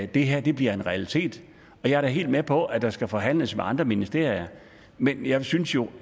det her bliver en realitet jeg er da helt med på at der skal forhandles med andre ministerier men jeg synes jo